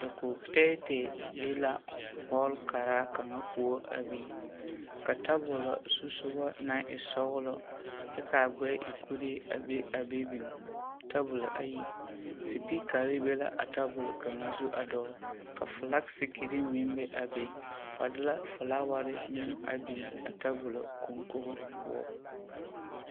Dakogi tɛɛtɛɛ be la hɔɔle karaa kaŋa poɔ a biŋ ka tabolo zusogɔ naŋ e sɔgelɔ kyɛ k'a gbɛɛ e kuree a be a be biŋ tabolo ayi. Sipikare be la a tabol kaŋa zu a dɔgele ka filasikiriŋ meŋ be a be, ba de la filaaware meŋ a biŋ a tabolo koŋkogo poɔ.